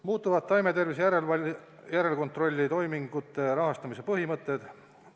Muutuvad taimetervise järelkontrolli toimingute rahastamise põhimõtted.